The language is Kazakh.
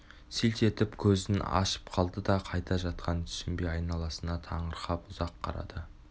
селт етіп көзін ашып алды да қайда жатқанын түсінбей айналасына таңырқап ұзақ қарады